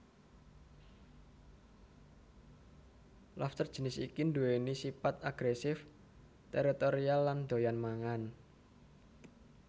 Lobster jinis iki nduwèni sipat agresif teritorial lan doyan mangan